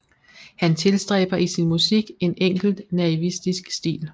Han tilstræber i sin musik en enkelt naivistisk stil